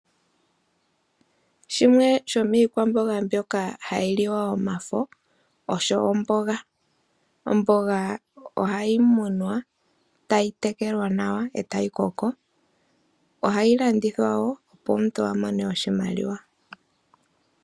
Shimwe shomiikwamboga mbyoka hayi liwa omafo osho omboga. Omboga oha yi munwa, tayi tekelwa nawa eta yi koko, ohayi landithwa wo opo omuntu amone oshimaliwa.